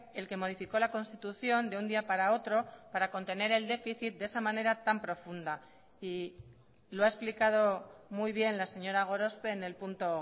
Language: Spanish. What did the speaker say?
el que modificó la constitución de un día para otro para contener el déficit de esa manera tan profunda y lo ha explicado muy bien la señora gorospe en el punto